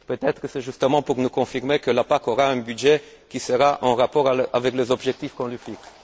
Peut être est ce justement pour nous confirmer que la PAC aura un budget qui sera en rapport avec les objectifs qu'on lui fixe.